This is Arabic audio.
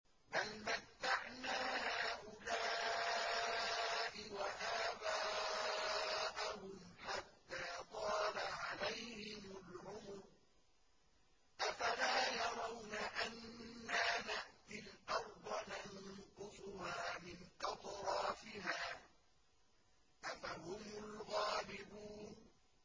بَلْ مَتَّعْنَا هَٰؤُلَاءِ وَآبَاءَهُمْ حَتَّىٰ طَالَ عَلَيْهِمُ الْعُمُرُ ۗ أَفَلَا يَرَوْنَ أَنَّا نَأْتِي الْأَرْضَ نَنقُصُهَا مِنْ أَطْرَافِهَا ۚ أَفَهُمُ الْغَالِبُونَ